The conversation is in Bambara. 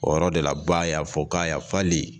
O yɔrɔ de la ba y'a fɔ k'a yafali